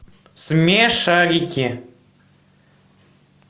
смешарики